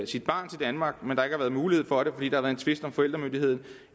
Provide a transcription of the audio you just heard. sit barn til danmark men har været mulighed for det fordi der en tvist om forældremyndigheden